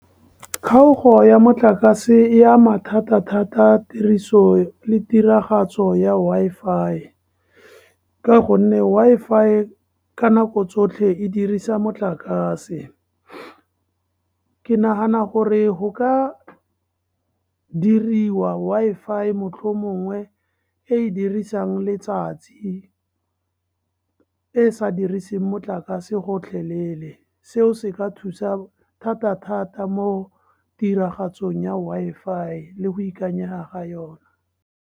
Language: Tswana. Kgaogo ya motlakase, e ama thata-thata tiriso le tiragatso ya Wi-Fi, ka gonne Wi-Fi ka nako tsotlhe e dirisa motlakase. Ke nagana gore go ka diriwa Wi-Fi mohlomongwe e dirisang letsatsi, e sa diriseng motlakase gotlhelele. Seo se ka thusa thata-thata mo tiragatsong ya Wi-Fi le go ikanyega ga yona.